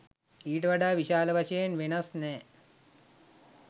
ඊට වඩා විශාල වශයෙන් වෙනස් නෑ